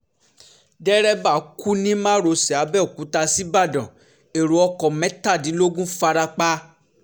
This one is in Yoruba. dẹ́rẹ́bà kú ní márosẹ̀ àbẹ̀òkúta ṣíbàdàn ẹ̀rọ ọkọ̀ mẹ́tàdínlógún farapa